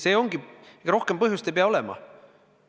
Nii ongi, ja rohkem põhjust ei pea olema.